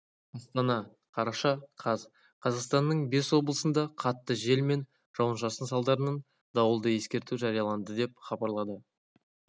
астана қараша қаз қазақстанның бес облысында қатты жел мен жауын-шашын салдарынан дауылды ескерту жарияланды деп хабарлады